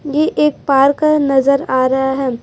ये एक पार्क नजर आ रहा है।